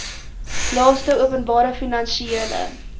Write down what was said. laste openbare finansiële